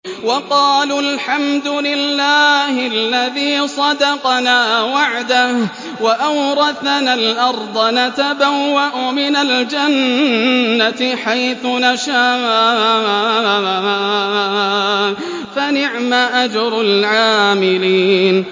وَقَالُوا الْحَمْدُ لِلَّهِ الَّذِي صَدَقَنَا وَعْدَهُ وَأَوْرَثَنَا الْأَرْضَ نَتَبَوَّأُ مِنَ الْجَنَّةِ حَيْثُ نَشَاءُ ۖ فَنِعْمَ أَجْرُ الْعَامِلِينَ